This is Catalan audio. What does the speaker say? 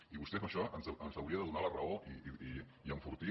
i vostè en això ens hauria de donar la raó i enfortir